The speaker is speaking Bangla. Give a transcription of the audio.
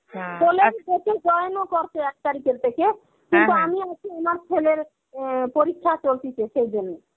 join ও করছে এক তারিখের থেকে কিন্তু আমি ওকে অনার ছেলের উম পরীক্ষা চলতিছে সেইজন্যে.